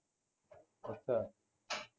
ਅੱਛਾ